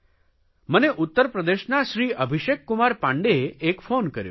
મને ઉત્તરપ્રદેશના શ્રી અભિષેકકુમાર પાંડેએ એક ફોન કર્યો છે